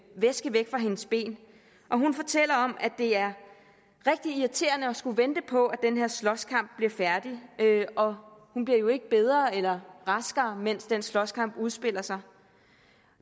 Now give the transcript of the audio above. væske væk fra hendes ben og hun fortæller om at det er rigtig irriterende at skulle vente på at den her slåskamp bliver færdig og hun bliver jo ikke bedre eller raskere mens den slåskamp udspiller sig